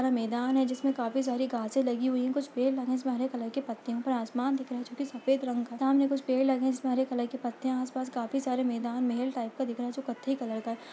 वह मैदान है जिसमें काफी सारी घासे लगी हुई है कुछ पेड़ लगे है जिसमें हरे कलर के पत्ते हैं ऊपर आसमान दिख रहा है जॉ की सफेद रंग का सामने कुछ पेड़ लगे हैं जिसमें हरे कलर के पत्ते हैं आस पास काफी सारे मैदान महल टाइप का दिख रहा है जो कत्थई कलर का है।